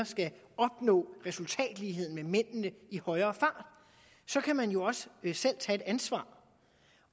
skal opnå resultatlighed med mændene i højere fart så kan man jo også selv tage et ansvar